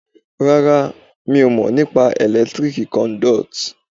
Rárá, mo mọ̀ nípa electrical conduit.